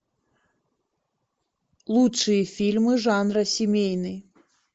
лучшие фильмы жанра семейный